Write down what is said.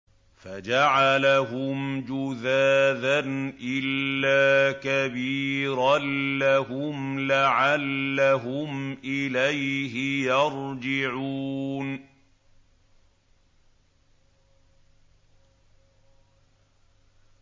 فَجَعَلَهُمْ جُذَاذًا إِلَّا كَبِيرًا لَّهُمْ لَعَلَّهُمْ إِلَيْهِ يَرْجِعُونَ